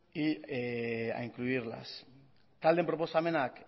y a incluirlas taldeen proposamenak